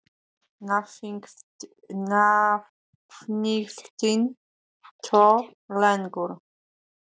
Nafngiftin þó lengur.